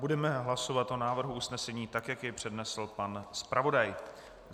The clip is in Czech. Budeme hlasovat o návrhu usnesení, tak jak jej přednesl pan zpravodaj.